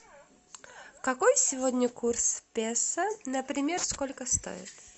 какой сегодня курс песо например сколько стоит